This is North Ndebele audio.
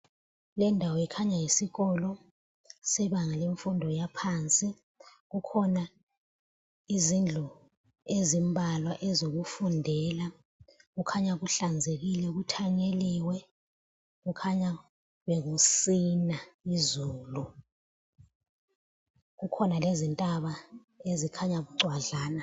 Lendawo ikhanya yisikolo sebanga lemfundo yaphansi kukhona izindlu ezimbalwa ezokufundela. Kukhanya kuhlanzekile kuthanyeliwe kukhanya bekusina izulu, kukhona lezintaba ezikhanya bucwadlana.